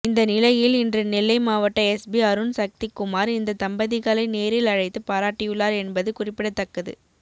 இந்த நிலையில் இன்று நெல்லை மாவட்ட எஸ்பி அருண் சக்திகுமார் இந்த தம்பதிகளை நேரில் அழைத்து பாராட்டியுள்ளார் என்பது குறிப்பிடத்தக்கது